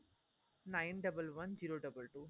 nine double one zero double two